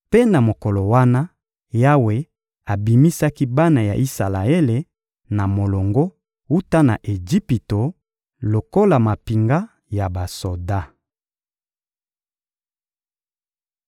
Mpe na mokolo wana, Yawe abimisaki bana ya Isalaele na molongo, wuta na Ejipito, lokola mampinga ya basoda.